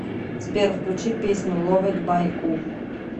сбер включи песню ловед бай у